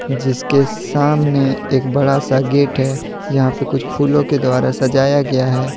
जिसके सामने एक बड़ा सा गेट है जहां पे कुछ फूलों के द्वारा सजाया गया है।